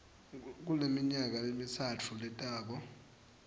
kuleminyaka lemitsatfu letako